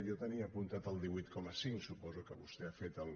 jo tenia apuntat el divuit coma cinc suposo que vostè ha fet el